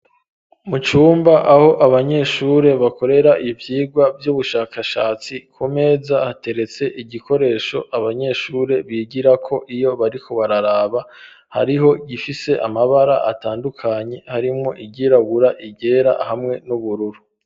Mu cumba aho abanyeshuri bakorera ivyigwa vy'ubushakashatsi, ku meza hateretse igikoresho abanyeshuri bigirako iyo bariko bararaba. Hariho igifise amabara atandukanye harimwo iryirabura iryera hamwe n'ubururu.